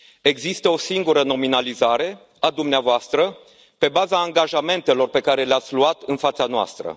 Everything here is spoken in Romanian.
Există o singură nominalizare a dumneavoastră pe baza angajamentelor pe care le ați luat în fața noastră.